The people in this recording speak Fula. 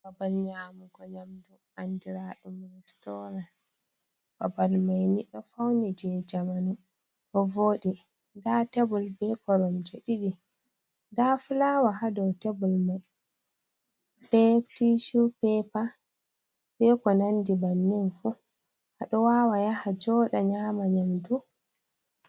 Babal nyamugo yamdu andira ɗum restoran babal mai ni ɗo fauni je jamanu bo voɗi nda tebol be koromje ɗiɗi nda fulawa ha dow tebol mai be tishu pepa be ko nandi bannin fu ha dow wawa yaha joɗa nyama nyamdu.